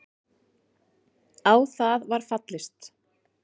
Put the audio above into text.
Á það var fallist.